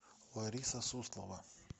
лариса суслова